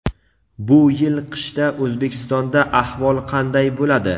Bu yil qishda O‘zbekistonda ahvol qanday bo‘ladi?.